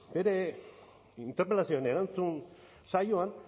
bere interpelazioan erantzun saioan